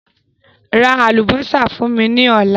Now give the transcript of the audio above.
Ra àlùbọ́sà fún mí ní ọ̀la